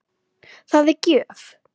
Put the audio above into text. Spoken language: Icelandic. Það er gjöf.